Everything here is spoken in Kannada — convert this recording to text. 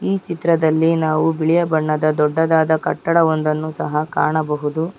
ಈ ಚಿತ್ರದಲ್ಲಿ ನಾವು ಬಿಳಿಯ ಬಣ್ಣದ ದೊಡ್ಡದಾದ ಕಟ್ಟಡ ಒಂದನ್ನು ಸಹ ಕಾಣಬಹುದು.